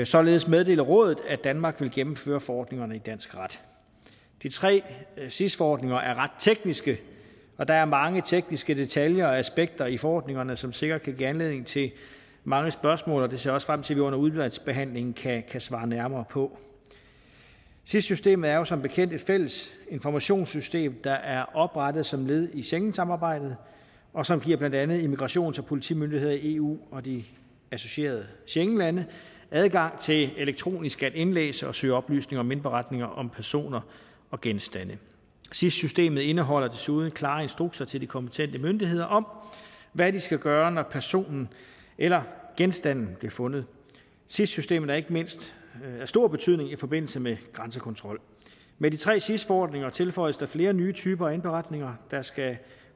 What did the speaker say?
således meddele rådet at danmark vil gennemføre forordningerne i dansk ret de tre sis forordninger er ret tekniske og der er mange tekniske detaljer og aspekter i forordningerne som sikkert kan give anledning til mange spørgsmål og det ser jeg også frem til vi under udvalgsbehandlingen kan svare nærmere på sis systemet er jo som bekendt et fælles informationssystem der er oprettet som led i schengensamarbejdet og som giver blandt andet immigrations og politimyndigheder i eu og de associerede schengenlande adgang til elektronisk at indlæse og søge oplysninger om indberetninger om personer og genstande sis systemet indeholder desuden klare instrukser til de kompetente myndigheder om hvad de skal gøre når personen eller genstanden bliver fundet sis systemet er ikke mindst af stor betydning i forbindelse med grænsekontrol med de tre sis forordninger tilføjes der flere nye typer af indberetninger der skal